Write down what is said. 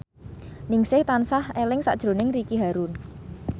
Ningsih tansah eling sakjroning Ricky Harun